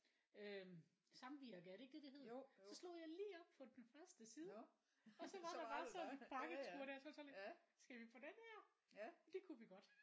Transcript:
Øh Samvirke er det ikke det det hedder så slog jeg lige op på den første side og så var der bare sådan en pakketur der så var jeg sådan lidt skal vi på den her og det kunne vi godt